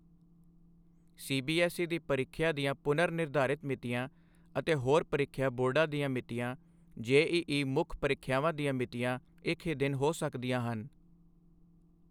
CBSE ਦੀ ਪਰੀਖਿਆ ਦੀਆਂ ਪੁਨਰ ਨਿਰਧਾਰਿਤ ਮਿਤੀਆਂ ਅਤੇ ਹੋਰ ਪਰੀਖਿਆ ਬੋਰਡਾਂ ਦੀਆਂ ਮਿਤੀਆਂ, ਜੇਈਈ ਮੁੱਖ ਪਰੀਖਿਆਵਾਂ ਦੀਆਂ ਮਿਤੀਆਂ ਇੱਕ ਹੀ ਦਿਨ ਹੋ ਸਕਦੀਆਂ ਹਨ।